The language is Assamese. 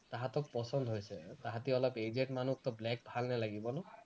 তাহাঁতক পছন্দ হৈছে, তাহাঁতি অলপ aged মানুহ so black ভাল নালাগিব ন